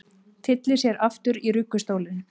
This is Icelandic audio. Tyllir sér aftur í ruggustólinn.